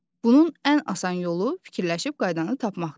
Bunun ən asan yolu fikirləşib qaydanı tapmaqdır.